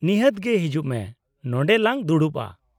-ᱱᱤᱦᱟᱹᱛ ᱜᱮ! ᱦᱤᱡᱩᱜ ᱢᱮ, ᱱᱚᱸᱰᱮ ᱞᱟᱝ ᱫᱩᱲᱩᱵᱼᱟ ᱾